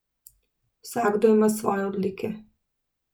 Vsakdo ima svoje odlike.